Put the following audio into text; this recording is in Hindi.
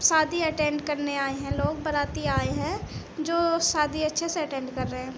शादी अटेन्ड करने आए हैं लोग। बराती आए हैं जो शादी अच्छे से अटेन्ड कर रहे हैं।